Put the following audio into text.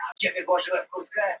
Nú gengurðu of langt.